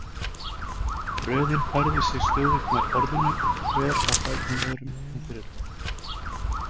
Röðin færði sig stöðugt nær borðinu og hver á fætur öðrum undirritaði.